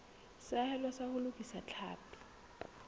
seahelo sa ho lokisa tlhapi